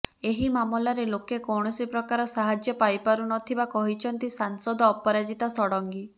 ଏହି ମାମଲାରେ ଲୋକେ କୌଣସିପ୍ରକାର ସାହାଯ୍ୟ ପାଇପାରୁ ନଥିବା କହିଛନ୍ତି ସାଂସଦ ଅପରାଜିତା ଷଡଙ୍ଗୀ